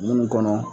Munnu kɔnɔ